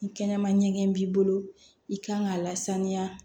Ni kɛnɛma ɲɛgɛn b'i bolo i kan ka lasaniya